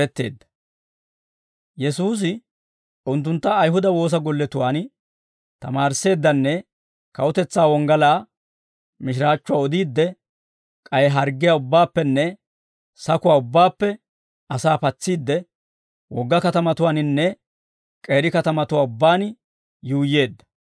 Yesuusi unttuntta Ayihuda woosa golletuwaan tamaarissiiddenne kawutetsaa wonggalaa mishiraachchuwaa odiidde, k'ay harggiyaa ubbaappenne sakuwaa ubbaappe asaa patsiidde, wogga katamatuwaaninne k'eeri katamatuwaa ubbaan yuuyyeedda.